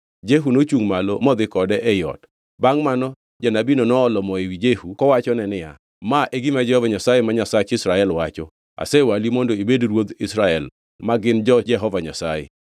Jehu nochungʼ malo modhi kode ei ot. Bangʼ mano janabino noolo mo ewi Jehu kowachone niya, “Ma e gima Jehova Nyasaye ma Nyasach Israel wacho: ‘Asewali mondo ibed ruodh Israel ma gin jo-Jehova Nyasaye.